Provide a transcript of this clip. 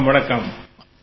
வணக்கம் வணக்கம்